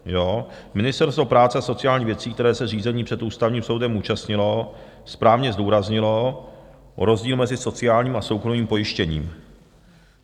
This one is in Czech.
Ministerstvo práce a sociálních věcí, které se řízení před Ústavním soudem účastnilo, správně zdůraznilo rozdíl mezi sociálním a soukromým pojištěním.